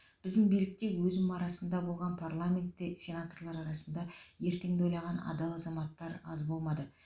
біздің билікте өзім арасында болған парламентте сенаторлар арасында ертеңді ойлаған адал азаматтар аз болмады